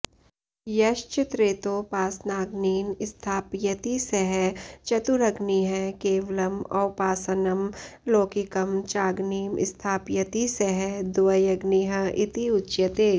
यश्च त्रेतौपासनाग्नीन स्थापयति सः चतुरग्निः केवलम् औपासानं लौकिकं चाग्निं स्थापयति सः द्व्यग्निः इति उच्यते